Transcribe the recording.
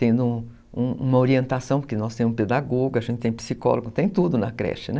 Tendo uma orientação, porque nós temos um pedagogo, a gente tem psicólogo, tem tudo na creche, né?